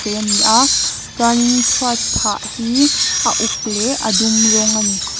ve a ni a chuanin chhuat phah hi a uk leh a dum rawng a ni.